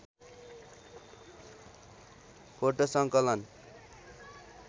photo सङ्कलन